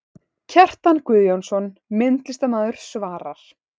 Kjartan Guðjónsson, myndlistarmaður svarar